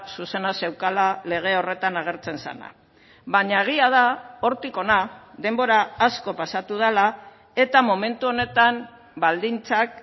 zuzena zeukala lege horretan agertzen zena baina egia da hortik hona denbora asko pasatu dela eta momentu honetan baldintzak